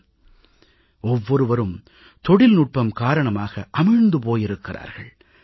ஏன் ஒவ்வொருவரும் தொழில்நுட்பம் காரணமாக அமிழ்ந்து போயிருக்கிறார்கள்